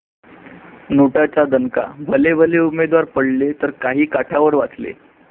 नोटा'चा दणका, भलेभले उमेदवार पडले तर काही काठावर वाचले!